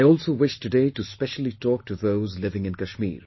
I also wish today to specially talk to those living in Kashmir